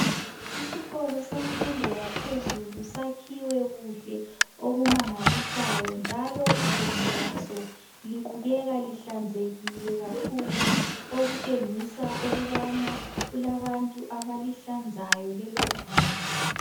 Isikolo semfundo yaphezulu sakhiwe kuhle okumangalisayo njalo iguma laso libukeka lihlanzekile kakhulu okutshengisa ukubana kulabantu abalihlanzayo leloguma.